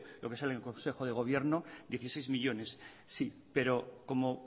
lo que sale en consejo de gobierno dieciséis millónes sí pero como